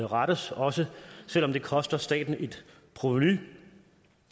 rettes også selv om det koster staten et provenu